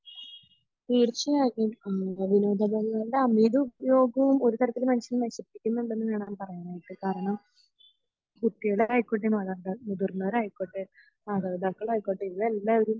തീർച്ചയായും അമിത ഉപയോഗവും ഒരു തരത്തിൽ മനുഷ്യനെ നശിപ്പിക്കുണ്ടെന്ന് വേണം പറയാനായിട്ട് കാരണം കുട്ടികളായികൊട്ടെ മാതാപിതാ മുതിർന്നവരായികൊട്ടെ മാതാപിതാക്കളായിക്കോട്ടെ ഇവർ എല്ലാവരും